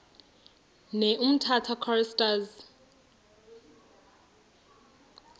ne umtata choristers